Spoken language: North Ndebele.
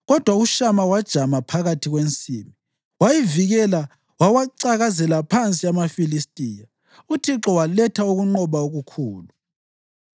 Kodwa uShama wajama phakathi kwensimu. Wayivikela wawacakazela phansi amaFilistiya, uThixo waletha ukunqoba okukhulu.